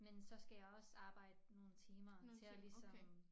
Men så skal jeg også arbejde nogle timer til at ligesom